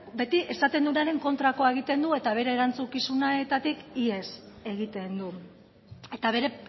beti esaten duenaren kontrakoa egiten du eta bere erantzukizunetatik ihes egiten du eta bere